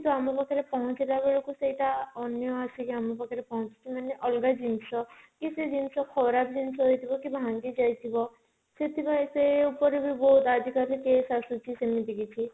କିନ୍ତୁ ଆମ ପାଖରେ ପହଞ୍ଚିଲା ବେଳକୁ ସେଇଟା ଅନ୍ୟ ଆସିକି ଆମ ପାଖ ରେ ପହଞ୍ଚୁଛି ମାନେ ଅଲଗା ଜିନିଷ କି ସେ ଜିନିଷ ଖରାପ ଜିନିଷ ହେଇଥିବ କି ଭାଙ୍ଗି ଯାଇଥିବ ସେଥିପାଇଁ ସେ ଉପରେ ବି ବହୁତ ଆଜି କାଲି case ଆସୁଛି ସେମିତି କିଛି